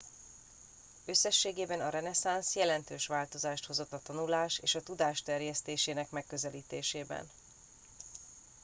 összességében a reneszánsz jelentős változást hozott a tanulás és a tudás terjesztésének megközelítésében